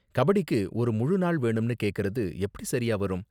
கபடிக்கு ஒரு முழு நாள் வேணும்னு கேக்கறது எப்படி சரியா வரும்?